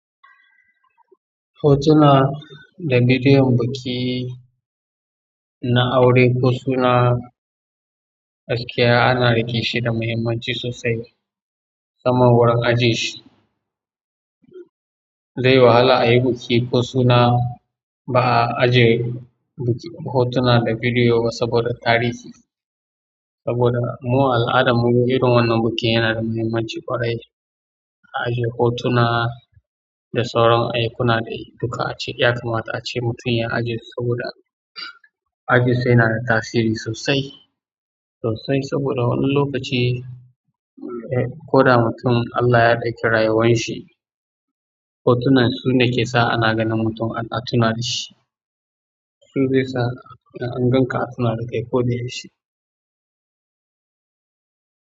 Hotuna da bidiyon biki na aure ko suna, gaskiya ana riƙe shi da muhimmanci sosai. Musamman wurin ajeshi. Zeyi wahala ayi buki ko suna ba'a aje buki hotuna da bidiyo ba saboda tarihi. Saboda mu a al'adammu irin wannan bikin yanada muhimmanci ƙwarai. A aje hotuna da sauran ayyukana dai duka ace yakamata a ce mutum ya ajesu saboda aje su yanada tasiri sosai, sosai saboda wani lokaci, eh, ko da mutum Allah ya ɗauke rayuwan shi, hotunan sune ke sa ana ganin mutum ana tunawa da shi. Su zesa ida an ganka a tuna da kai koda yaushe.